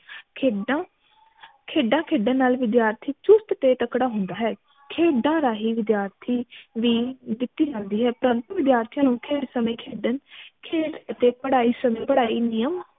ਖੇਡਾਂ ਖੇਡਾਂ ਖੇਡਣ ਨਾਲ ਵਿਦਿਆਰਥੀ ਚੁਸਤ ਤੇ ਤਕੜਾ ਹੁੰਦਾ ਹੈ ਖੇਡਾਂ ਰਾਹੀਂ ਵਿਦਿਆਰਥੀ ਵੀ ਦਿਤੀ ਜਾਂਦੀ ਹੈ ਪਰੰਤੂ ਵਿਦਿਆਰਥੀ ਨੂੰ ਖ਼ੇਡ ਸਮਯ ਖੇਡਣ ਖੇਡ ਅਤੇ ਪੜ੍ਹਾਈ ਸਮਯ ਪੜ੍ਹਾਈ ਨਿਯਮ